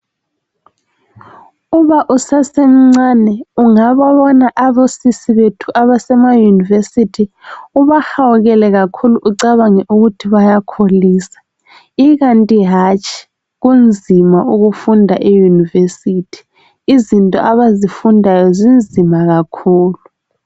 uma usasemncane ungababona osisi bethu abasema yunivesithi ubahawukele kakhulu ucabange ukuthi bayakholisa ikanti hatshi kunzima ukufunda eyunivesithi izinto abazifundayo zinzima kakhulu.